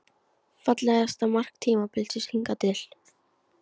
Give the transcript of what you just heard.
Fallegasta mark tímabilsins hingað til?